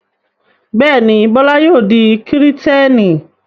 Bẹ́ẹ̀ ni, Bọ́lá yóò di Kìrìtẹ́ẹ́nì.